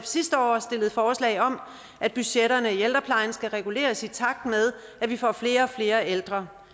sidste år stillede forslag om at budgetterne i ældreplejen skal reguleres i takt med at vi får flere og flere ældre